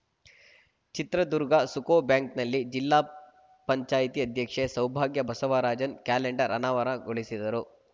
ಚಿತ್ರದುರ್ಗ ಸುಕೋ ಬ್ಯಾಂಕ್‌ನಲ್ಲಿ ಜಿಲ್ಲಾ ಪಂಚಾಯತಿ ಅಧ್ಯಕ್ಷೆ ಸೌಭಾಗ್ಯ ಬಸವರಾಜನ್‌ ಕ್ಯಾಲೆಂಡರ್‌ ಅನಾವರಣಗೊಳಿಸಿದರು